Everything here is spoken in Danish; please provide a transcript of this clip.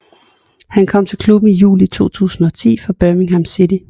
Han kom til klubben i juli 2010 fra Birmingham City